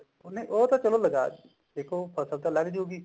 ਉਹਨੇ ਉਹ ਤਾਂ ਚਲੋ ਦੇਖੋ ਫਸਲ ਤਾਂ ਲੱਗ ਜੁਗੀ